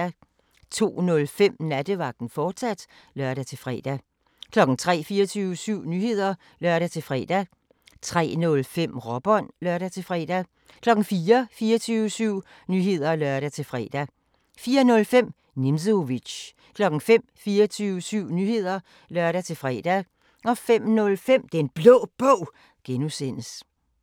02:05: Nattevagten, fortsat (lør-fre) 03:00: 24syv Nyheder (lør-fre) 03:05: Råbånd (lør-fre) 04:00: 24syv Nyheder (lør-fre) 04:05: Nimzowitsch 05:00: 24syv Nyheder (lør-fre) 05:05: Den Blå Bog (G)